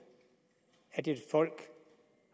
at et folk